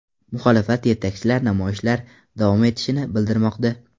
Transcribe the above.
Muxolifat yetakchilar namoyishlar davom etishini bildirmoqda.